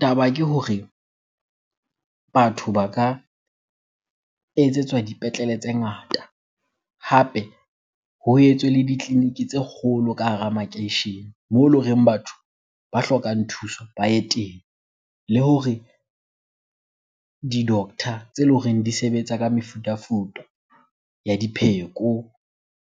Taba ke hore batho ba ka etsetswa dipetlele tse ngata. Hape ho etswe le ditleliniki tse kgolo ka hara makeishene moo ele horeng batho ba hlokang thuso ba ye teng. Le hore di-doctor tse leng hore di sebetsa ka mefutafuta ya dipheko,